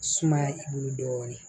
Sumaya i bolo dɔɔnin